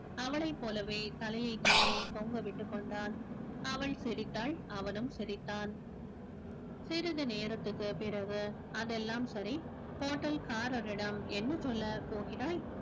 அவளை போலவே தலையை கீழே தொங்க விட்டுக் கொண்டான் அவள் சிரித்தாள் அவனும் சிரித்தான் சிறிது நேரத்திற்கு பிறகு அதெல்லாம் சரி hotel காரரிடம் என்ன சொல்லப் போகிறாய்